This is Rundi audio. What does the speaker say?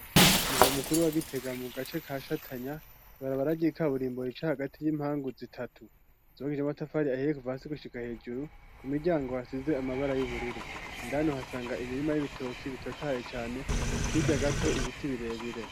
Ku mugwa mukuru wa gitega mu gace ka shatanya ibarabara ryikaburimbi rica hagati y'impangu zitatu zubakishije amatafari ahiye kuva hasi gushika hejuru ku miryango hasize amabara y'ubururu, indani uhasanga imirima y'ibitoke bitotahaye cane hirya gato ibiti birebire.